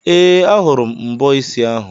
Ee, a hụrụ m mbọ isi ahụ.